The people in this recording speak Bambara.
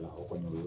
Aw ka ɲi